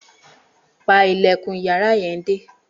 Pa ilẹ̀kùn yàrá yẹn dé!